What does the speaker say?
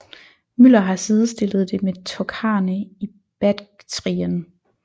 Müller har sidestillet det med tokharerne i Baktrien